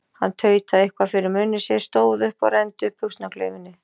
Hann tautaði eitthvað fyrir munni sér, stóð upp og renndi upp buxnaklaufinni.